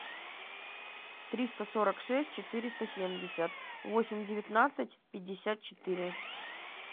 триста сорок шесть четыреста семьдесят восемь девятнадцать пятьдесят четыре